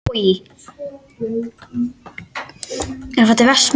Þetta er bara fullkomin íþrótt.